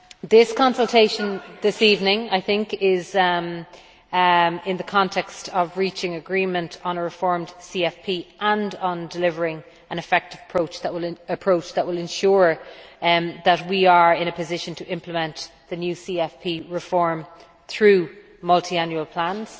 This consultation this evening is taking place in the context of reaching agreement on a reformed CFP and on delivering an effective approach that will ensure that we are in a position to implement the new CFP reform through multiannual plans.